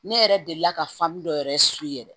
Ne yɛrɛ delila ka dɔ yɛrɛ yɛrɛ